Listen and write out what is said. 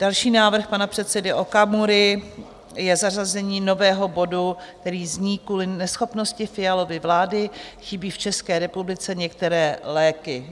Další návrh pana předsedy Okamury je zařazení nového bodu, který zní: Kvůli neschopnosti Fialovy vlády chybí v České republice některé léky.